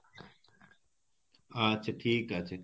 আচ্ছা ঠিক আছে